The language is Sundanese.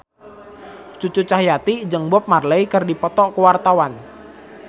Cucu Cahyati jeung Bob Marley keur dipoto ku wartawan